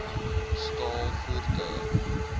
staal voertuie